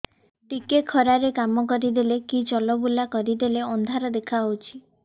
ଟିକେ ଖରା ରେ କାମ କରିଦେଲେ କି ଚଲବୁଲା କରିଦେଲେ ଅନ୍ଧାର ଦେଖା ହଉଚି